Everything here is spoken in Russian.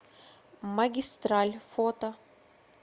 магистраль фото